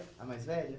A mais velha?